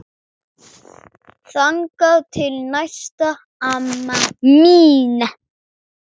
Þangað til næst amma mín.